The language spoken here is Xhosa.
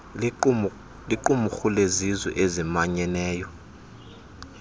liqumrhu lezizwe ezimanyeneyo